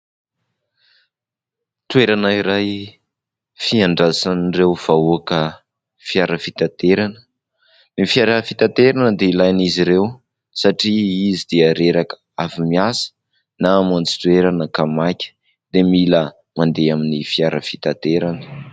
Toerana iray fiandrasan'ireo vahoaka fiara fitaterana. Ny fiara fitaterana dia ilain'izy ireo satria izy dia reraka avy miasa na hamonjy toerana ka maika dia mila mandeha amin'ny fiara fitaterana.